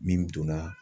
Min donna